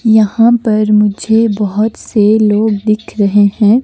यहाँ पर मुझे बहुत से लोग दिख रहे हैं।